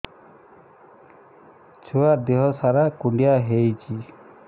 ଛୁଆର୍ ଦିହ ସାରା କୁଣ୍ଡିଆ ହେଇଚି